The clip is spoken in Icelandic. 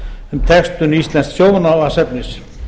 um textun íslensks sjónvarpsefnis